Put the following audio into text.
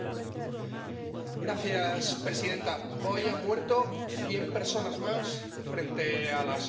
Señora presidenta, hoy han muerto cien personas más frente a las costas libias.